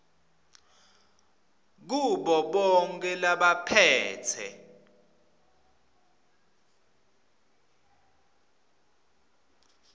kubo bonkhe labaphetse